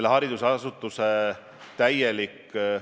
Kui me moodustame Vabariigi Valitsuse komisjoni, siis seda teenindab Riigikantselei.